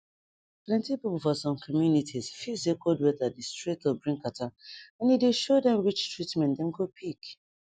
plenty people for some communities feel say cold weather dey straight up bring catarrh and e dey show dem which treatment dem go pick